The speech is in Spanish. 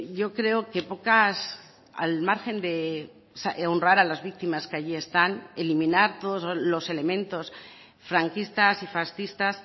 yo creo que pocas al margen de honrar a las víctimas que allí están eliminar todos los elementos franquistas y fascistas